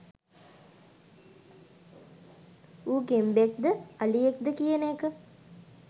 ඌ ගෙම්බෙක්ද අලියෙක්ද කියන එක